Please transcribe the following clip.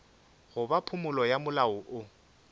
goba phumolo ya molao woo